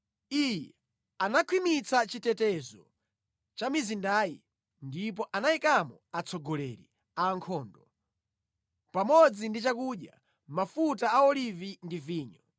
Iye anakhwimitsa chitetezo cha mizindayi ndipo anayikamo atsogoleri a ankhondo, pamodzi ndi chakudya, mafuta a olivi ndi vinyo.